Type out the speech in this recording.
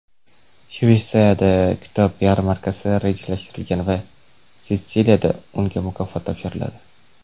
Shvetsiyada kitob yarmarkasi rejalashtirilgan va Sitsiliyada unga mukofot topshiriladi.